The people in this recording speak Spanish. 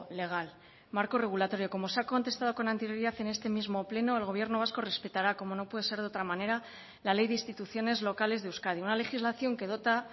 legal marco regulatorio como se ha contestado con anterioridad en este mismo pleno el gobierno vasco respetará como no puede ser de otra manera la ley de instituciones locales de euskadi una legislación que dota